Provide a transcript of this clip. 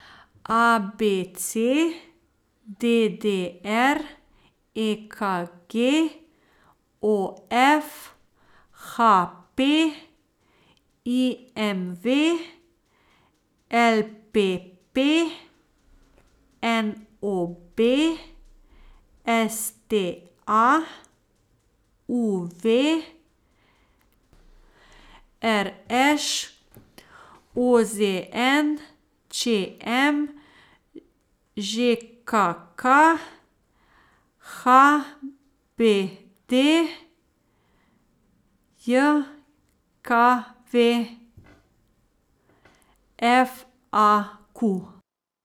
A B C; D D R; E K G; O F; H P; I M V; L P P; N O B; S T A; U V; R Š; O Z N; Č M; Ž K K; H B D J K V; F A Q.